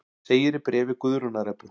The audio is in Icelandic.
Segir í bréfi Guðrúnar Ebbu.